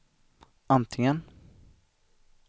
antingen